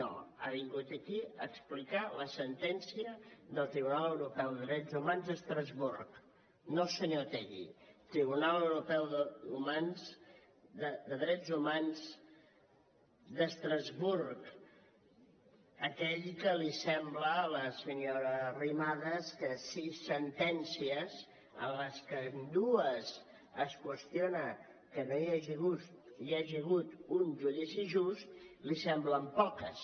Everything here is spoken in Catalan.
no ha vingut aquí a publicar la sentència del tribunal europeu de drets humans d’estrasburg no el senyor otegi tribunal europeu de drets humans d’estrasburg aquell del qual li sembla a la senyora arrimadas que sis sentències en les que en dues es qüestiona que no hi hagi hagut un judici just li semblen poques